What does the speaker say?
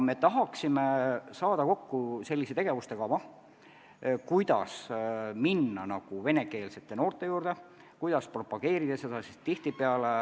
Me tahaksime kokku panna tegevuskava, kuidas minna venekeelsete noorte juurde ja propageerida seda sektorit.